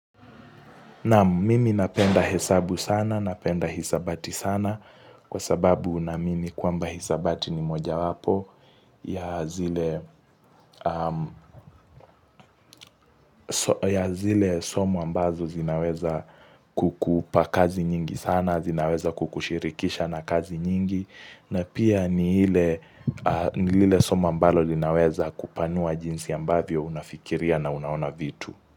Naam mimi napenda hesabu sana, napenda hisabati sana kwa sababu naamini kwamba hisabati ni moja wapo ya zile somo ambazo zinaweza kukupa kazi nyingi sana, zinaweza kukushirikisha na kazi nyingi na pia ni ile somo ambalo linaweza kupanua jinsi ambavyo unafikiria na unaona vitu.